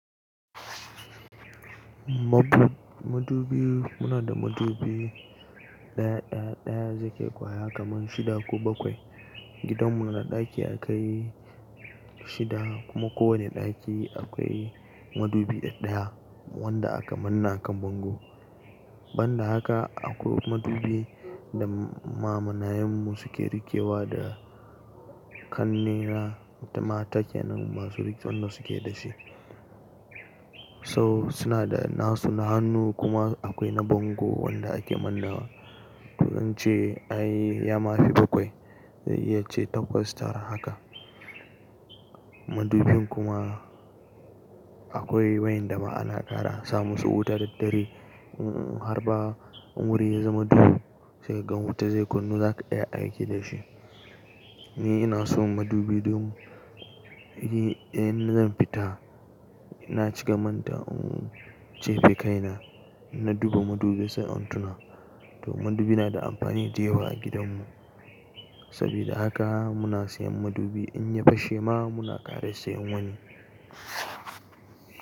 Madubi, muna da madubi ɗaya, ɗaya, ɗaya zai kai kwaya kaman shida ko bakwai. Gidanmu da ɗaki yakai shida kuma kowani ɗaki akwai madubi ɗa-ɗaya wanda aka manne akan bango. Banda haka akwai madubi da ma mana yanmu suke rikewa da kanne na mata kenan ma su rike wannan suke da shi. So suna da nasu na hannu kuma akwai na bango wanda ake manna wa. To don ce ai ya mafi bakwai, zan iya ce takwas tara haka. Madubin kuma akwai wa en da ma ana ƙara, sa musu wutar dare. Har ba umuri ya zama duhu zai gan wuta zai kunnu za ka iya aiki da shi. Ni ina son madubi domin in zan fita, na ci ka manta, uh, sefe kaina, na duba madubi sai an tuna. To madubi na da amfani da yawa a gidanmu. Sabida haka muna siyan madubi in ya fashe ma muna ƙara siyan wani.